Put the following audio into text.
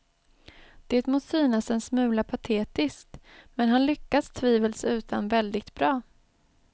Det må synas en smula patetiskt, men han lyckas tvivelsutan väldigt bra.